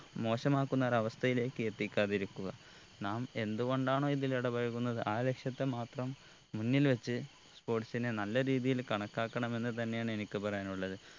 മോശമാക്കുന്ന ഒരവസ്ഥയിലേക്ക് എത്തിക്കാതിരിക്കുക നാം എന്ത്കൊണ്ടാണോ ഇതിൽ ഇടപഴകുന്നത് ആ ലക്ഷ്യത്തെ മാത്രം മുന്നിൽ വെച്ച് sports നെ നല്ല രീതിയിൽ കണക്കാക്കണം എന്ന് തന്നെയാണ് എനിക്ക് പറയാനുള്ളത്